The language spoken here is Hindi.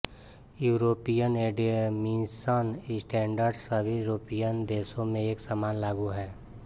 यूरोपियन एमिशन स्टेंडर्डस सभी यूरोपियन देशों में एक समान लागू हैं